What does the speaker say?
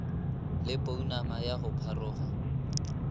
le pounama ya go pharoga